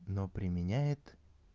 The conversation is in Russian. но применяет